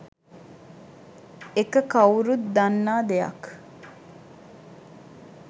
එක කවුරුත් දන්නා දෙයක්